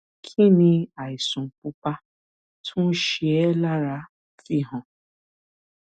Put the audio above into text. kí ni àìsàn pupa tó ń ṣe ẹ́ lára fi hàn